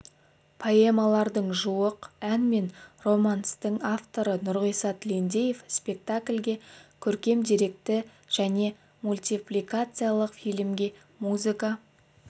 поэмалардың жуық ән мен романстың авторы нұрғиса тілендиев спектакльге көркем деректі және мультипликациялық фильмге музыка